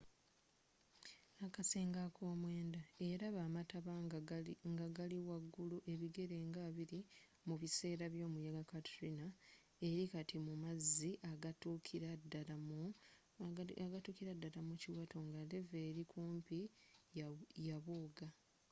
akasenge akomwenda eyalaba amataba nga gali wa ggulu ebigere nga 20 mu biseera byomuyaga katrina eri kati mu mazzi agatuukira ddala mu kiwato nga levee eri okumpi yabooga